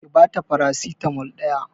Ki bata farasitamol ɗaya